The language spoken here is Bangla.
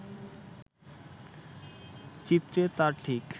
চিত্রে তার ঠিক